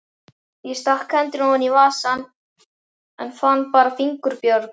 Ég stakk hendinni ofan í vasann, en fann bara fingurbjörg.